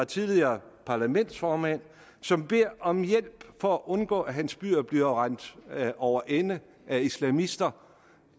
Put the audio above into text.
tidligere parlamentsformand som beder om hjælp for at undgå at hans byer bliver rendt over ende af islamister